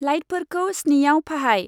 लाइटफोरखौ स्निआव फाहाय।